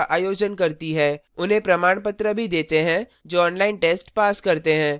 उन्हें प्रमाणपत्र भी देते हैं जो online test pass करते हैं